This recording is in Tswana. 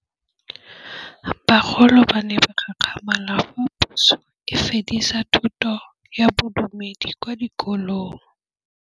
Bagolo ba ne ba gakgamala fa Pusô e fedisa thutô ya Bodumedi kwa dikolong.